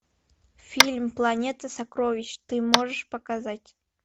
фильм планета сокровищ ты можешь показать